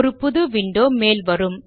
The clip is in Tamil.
ஒரு புது விண்டோ மேல் வரும்